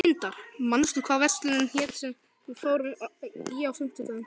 Tindar, manstu hvað verslunin hét sem við fórum í á fimmtudaginn?